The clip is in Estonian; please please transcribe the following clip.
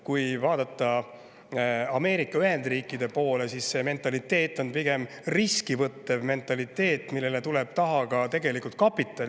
Kui vaadata Ameerika Ühendriike, siis see mentaliteet, millele tuleb taha ka kapital, on pigem riski võttev mentaliteet.